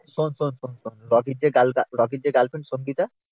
শোন শোন শোন শোন রকির যে গাল রকির যে গার্লফ্রেন্ড সঙ্গীতা